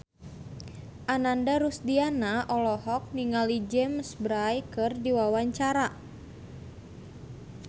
Ananda Rusdiana olohok ningali James Bay keur diwawancara